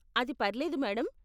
అది పర్లేదు మేడం.